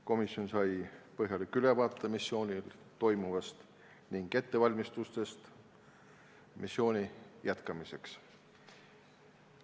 Komisjon sai põhjaliku ülevaate missioonil toimuvast ning ettevalmistustest missiooni jätkamiseks.